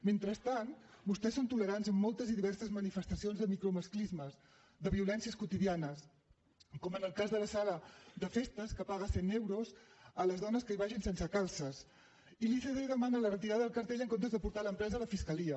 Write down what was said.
mentrestant vostès són tolerants amb moltes i diverses manifestacions de micromasclismes de violències quotidianes com en el cas de la sala de festes que paga cent euros a les dones que hi vagin sense calces i l’icd demana la retirada del cartell en comptes de portar l’empresa a la fiscalia